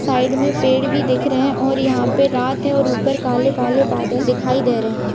Side में पेड़ भी दिख रहे रहे है और यहाँ पे रात है और ऊपर काले काले बादल दिखाई दे रहे रहे है।